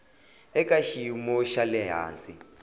eka xiyimo xa le hansi